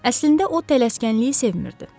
Əslində o tələskənliyi sevirdi.